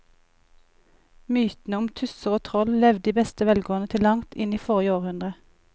Mytene om tusser og troll levde i beste velgående til langt inn i forrige århundre.